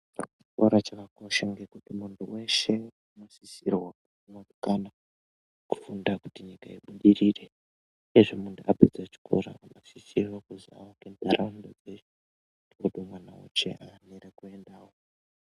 Chikora chakakosha maningi ngekuti muntu weshe unosisirwa kufunda kuti nyika ubudirire uyezve muntu apedza chikora unosisirwa kuti avake ndaraunda dzenyu vamwe vawane kuendawo.